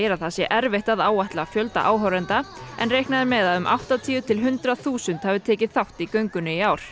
að það sé erfitt að áætla fjölda áhorfenda en reiknað er með að um áttatíu til eitt hundrað þúsund hafi tekið þátt í göngunni í ár